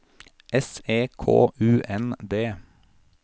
S E K U N D